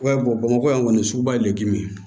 bamakɔ yan kɔni suguba ye le kelen ye